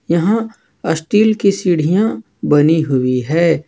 यहां अस्टील की सीढ़ियां बनी हुई है।